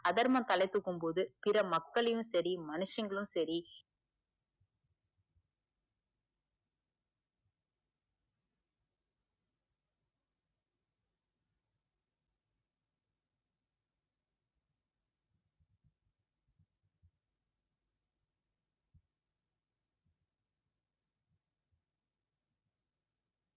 அதர்மம் தலை தூக்கும் போது பிற மக்களின் செரி மனுஷங்களும் செரி